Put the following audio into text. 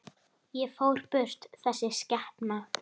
Og fór burt, þessi skepna.